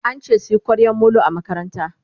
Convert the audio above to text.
ance suyi kwaryan Molo a makaranta